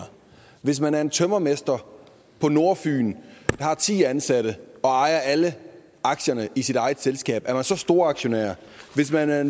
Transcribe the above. hvis man er en tømrermester på nordfyn har ti ansatte og ejer alle aktierne i sit eget selskab er man så storaktionær hvis man er